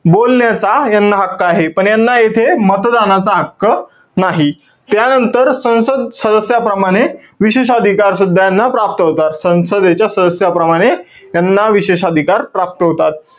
बोलण्याचा यांना हक्क आहे. पण यांना येथे मतदानाचा हक्क नाही. त्यानंतर, संसद सदस्याप्रमाणे विशेष अधिकारसुद्धा यांना प्राप्त होतात. संसदेच्या सदस्याप्रमाणे त्यांना विशेष अधिकार प्राप्त होतात.